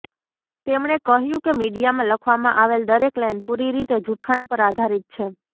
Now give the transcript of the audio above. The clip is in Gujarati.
તેમણે કહ્યું કે મીડીયામાં લખવામાં આવેલ દરેક લાઇન પુરી રીતે જુઠ્ઠાણા પર આધારિત છે